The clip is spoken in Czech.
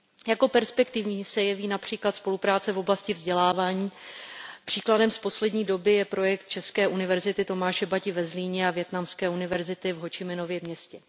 Jako perspektivní se jeví například spolupráce v oblasti vzdělávání, příkladem z poslední doby je projekt české univerzity Tomáše Bati ve Zlíně a vietnamské univerzity v Ho Či Minově Městě.